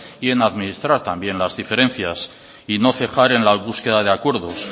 y en administrar también las diferencias y no cejar en la búsqueda de acuerdos